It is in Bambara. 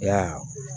Ya